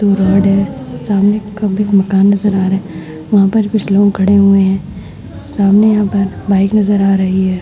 दो रोड है। सामने एक कमरे का मकान नजर आ रहा है। ऊपर कुछ लोग खड़े हुए हैं। सामने यहाँ पर बाइक नजर आ रही है।